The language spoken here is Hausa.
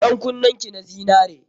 Ɗan kunnen ki na zinare.